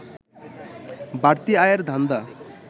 বাড়তি আয়ের ধান্দা